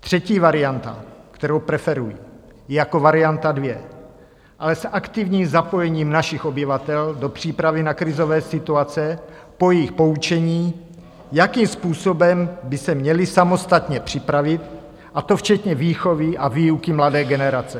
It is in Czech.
Třetí varianta, kterou preferuji, je jako varianta dvě, ale s aktivním zapojením našich obyvatel do přípravy na krizové situace po jejich poučení, jakým způsobem by se měli samostatně připravit, a to včetně výchovy a výuky mladé generace.